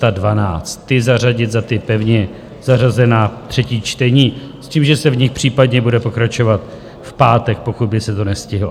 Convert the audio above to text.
Ty zařadit za ta pevně zařazená třetí čtení s tím, že se v nich případně bude pokračovat v pátek, pokud by se to nestihlo.